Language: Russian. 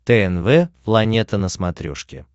тнв планета на смотрешке